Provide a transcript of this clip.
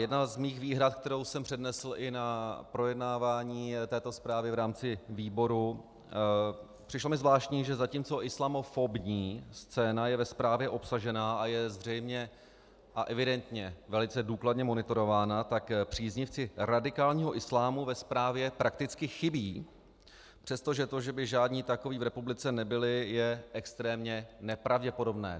Jedna z mých výhrad, kterou jsem přednesl i na projednávání této zprávy v rámci výboru, přišlo mi zvláštní, že zatímco islamofobní scéna je ve zprávě obsažena a je zřejmě a evidentně velice důkladně monitorována, tak příznivci radikálního islámu ve zprávě prakticky chybí, přestože to, že by žádní takoví v republice nebyli, je extrémně nepravděpodobné.